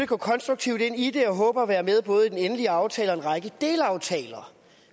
gå konstruktivt ind i det og håber at være med i både den endelige aftale og i en række delaftaler